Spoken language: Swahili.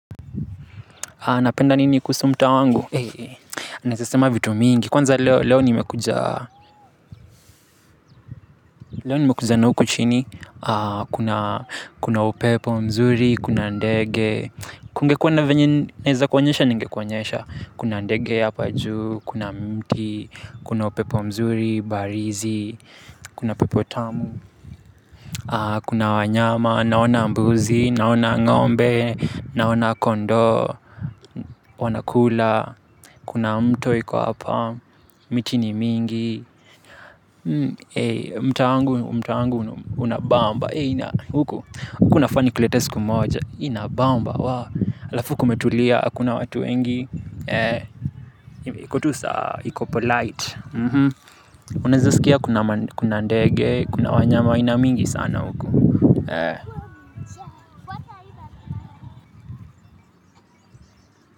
Napenda nini kuhusu mta wangu? Naweze sema vitu mingi, kwanza leo nimekuja na huku chini, kuna kuna upepo nzuri, kuna ndege, kuna ndege hapa juu, kuna mti, kuna upepo mzuri, barizi, kuna pepotamu, kuna wanyama, naona mbuzi, naona ngombe, naona kondoo, wanakula, kuna mto iko hapa. Miti ni mingi. Mtaa wangu unabamba. Huku nafaa nikulete siku moja. Inabamba. Alafu kumetulia. Kuna watu wengi. Iko tu sawa. Iko polite unaweza sikia kuna ndege, kuna wanyama wa aina mingi sana huku.